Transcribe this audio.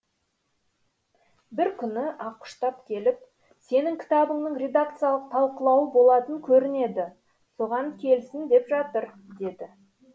бір күні ақұштап келіп сенің кітабыңның редакциялық талқылауы болатын көрінеді соған келсін деп жатыр деді